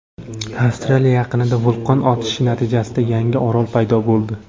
Avstraliya yaqinida vulqon otilishi natijasida yangi orol paydo bo‘ldi.